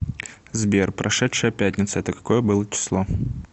сбер прошедшая пятница это какое было число